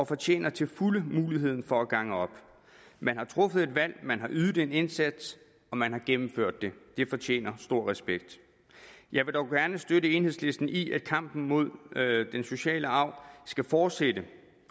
fortjener til fulde muligheden for at gange op man har truffet et valg man har ydet en indsats og man har gennemført det det fortjener stor respekt jeg vil dog gerne støtte enhedslisten i at kampen mod den sociale arv skal fortsætte